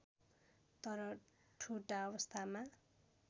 तर ठुटा अवस्थामा